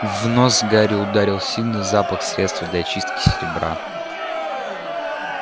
в нос гарри ударил сильный запах средства для чистки серебра